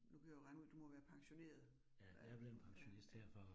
Nu kan jeg jo regne ud, du må være pensioneret. Ja, ja